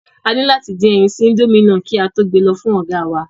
A ní láti dín ẹyin sí indomie náà kí a kí á tó gbe lọ fún ọ̀gáa wa